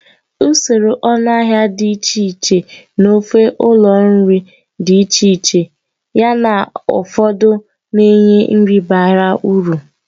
Usoro ọnụahịa dị iche iche n'ofe ụlọ nri dị iche iche, yana ụfọdụ na-enye nri bara uru.